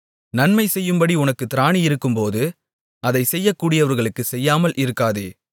நன்மைசெய்யும்படி உனக்குத் திராணியிருக்கும்போது அதை செய்யக்கூடியவர்களுக்குச் செய்யாமல் இருக்காதே